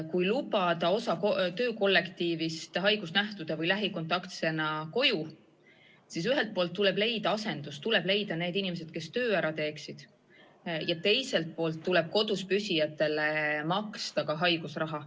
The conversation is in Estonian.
Kui lubada osa töökollektiivist haigusnähtude pärast või lähikontaktsena koju, tuleb ühelt poolt leida asendus, st inimesed, kes töö ära teeksid, ja teiselt poolt tuleb kodus püsijatele maksta ka haigusraha.